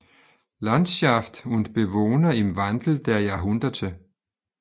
Landschaft und Bewohner im Wandel der Jahrhunderte